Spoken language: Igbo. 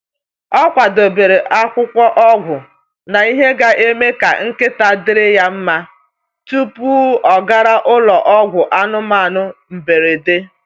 Ọ kwadebere akwụkwọ ọgwụ na ihe ga-eme ka nkịta dịrị ya mma tupu ọ gara ụlọ ọgwụ anụmanụ mberede.